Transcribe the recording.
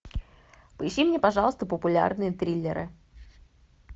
поищи мне пожалуйста популярные триллеры